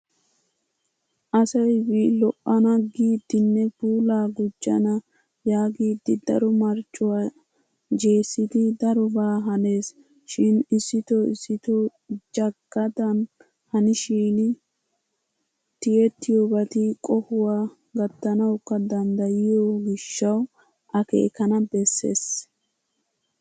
Asayvlo'ana giiddinne puulaa gujjana yaagiiddi daro marcvuwa jessidi darobaa hanees. Shin issito issitoo jagaadan hanishin tiyettiyobati qohuwa gattanawukka danddayiyo gishshawu akeekana bessees.